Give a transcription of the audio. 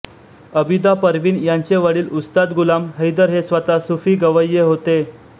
अबिदा परवीन यांचे वडील उस्ताद गुलाम हैदर हे स्वतः सुफी गवय्ये होते